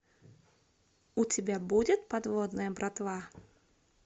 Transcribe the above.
у тебя будет подводная братва